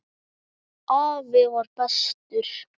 Afi var bestur.